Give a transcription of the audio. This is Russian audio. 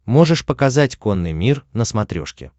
можешь показать конный мир на смотрешке